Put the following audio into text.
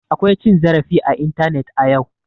Akwa cin zarafi a intanet a yau.